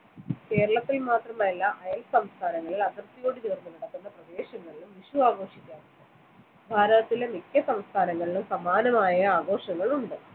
കേരളത്തിൽ മാത്രമല്ല അയൽ സംസ്ഥാനങ്ങളിൽ അതിർത്തിയോട് ചേർന്ന് കിടക്കുന്ന പ്രദേശങ്ങളിലും വിഷു ആഘോഷിക്കാറുണ്ട് ഭാരതത്തിലെ മിക്ക സംസ്ഥാനങ്ങളിലും സമാനമായ ആഘോഷങ്ങൾ ഉണ്ട്